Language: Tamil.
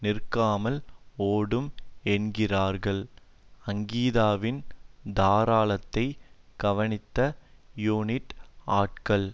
நிற்காமல் ஓடும் என்கிறார்கள் அங்கீதாவின் தாராளத்தை கவனித்த யூனிட் ஆள்கள்